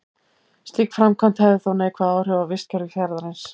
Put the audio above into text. Slík framkvæmd hefði þó neikvæð áhrif á vistkerfi fjarðarins.